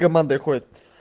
командой ходят